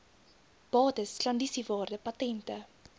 bates klandisiewaarde patente